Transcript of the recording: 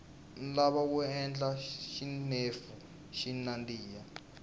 nhlava wu endla xinefu xi nandiha